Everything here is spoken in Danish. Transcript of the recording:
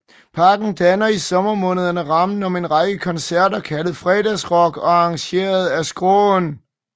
Parken danner i sommermånederne rammen om en række koncerter kaldet Fredagsrock og arrangeret af Skråen